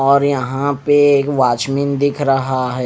और यहां पे एक वॉचमैन दिख रहा है।